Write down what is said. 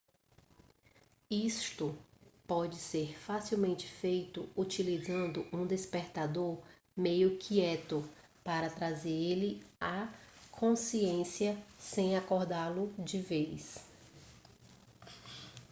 isto pode ser facilmente feito utilizando um despertador meio quieto para trazer ele à consciência sem acordá-lo de vez